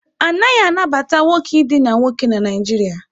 A naghị anabata nwoke idina nwoke na Naịjirịa.